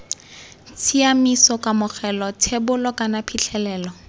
tshiaimiso kamogelo thebolo kana phitlhelelo